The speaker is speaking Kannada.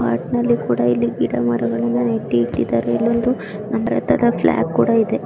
ಇಲ್ಲಿ ಒಂದು ಪಾರ್ಕ್ ಮತ್ತು ಗಿಡಮರಗಳು ಇವೆ